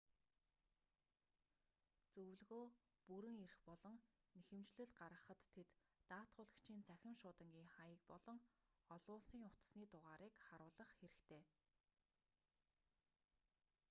зөвлөгөө/бүрэн эрх болон нэхэмжлэл гаргахад тэд даатгуулагчийн цахим шуудангийн хаяг болон олон улсын утасны дугаарыг харуулах хэрэгтэй